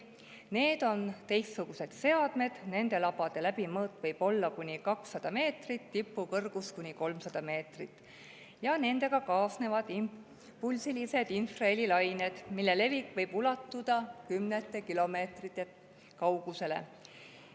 Need on teistsugused seadmed, nende labade läbimõõt võib olla kuni 200 meetrit, tipu kõrgus kuni 300 meetrit ja nendega kaasnevad impulsilised infrahelilained, mille levik võib ulatuda kümnete kilomeetrite kaugusele.